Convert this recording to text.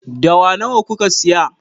Dawa nawa kuka saya?